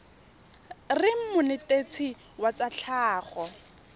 reng monetetshi wa tsa tlhago